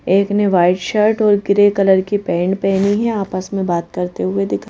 एक ने white shirt और ग्रे कलर की पेंट पहनी है आपस में बात करते हुए दिख --